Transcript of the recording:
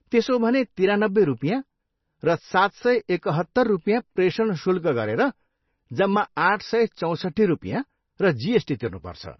त्यसो हो भने तिरानब्बे रुपियाँ र सात सय एकहत्तर रुपियाँ प्रेषण शुल्क गरेर जम्मा आठ सय चौसट्ठी रुपियाँ र जिएसटी तिर्नुपर्छ।